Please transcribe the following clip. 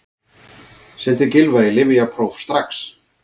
Sendið Gylfa í lyfjapróf strax!